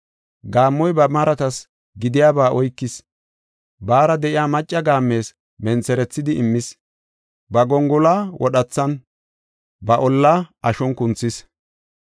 Gaammoy ba maratas gidiyaba oykis; baara de7iya macca gaammes mentherethidi immis. Ba gongoluwa wodhethan, ba ollaa ashon kunthis.